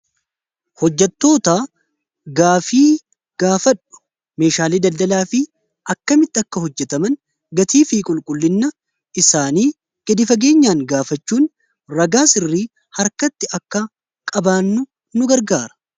Hojjatoota gaafii gaafadhu, meeshaalee daldalaa fi akkamitti akka hojjetaman gatii fi qulqullinna isaanii gadi fageenyaan gaafachuun ragaa sirrii harkatti akka qabaannu nu gargaara.